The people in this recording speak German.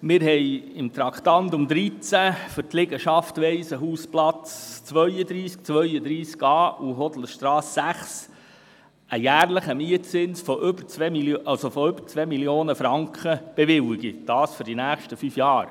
Wir haben unter dem Traktandum 13 für die Liegenschaften Waisenhausplatz 32 und 32a sowie die Hodlerstrasse 6 einen jährlichen Mietzins von mehr als 2 Mio. Franken bewilligt, und zwar für die nächsten fünf Jahre.